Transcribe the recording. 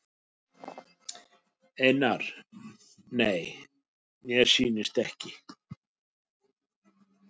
Einar: Nei mér sýnist ekki.